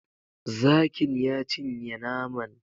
Zakin ya cinye naman